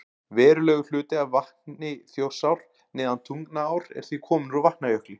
Verulegur hluti af vatni Þjórsár neðan Tungnaár er því kominn úr Vatnajökli.